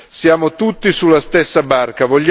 Siamo tutti sulla stessa barca.